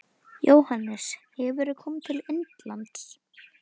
Jóhannes: Hefurðu komið til Indlands?